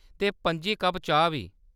ते पंजी कप्प चाह्‌‌ बी।